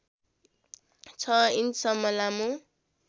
६ इन्चसम्म लामो